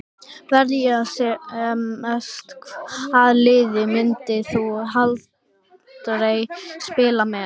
Verja sem mest Hvaða liði myndir þú aldrei spila með?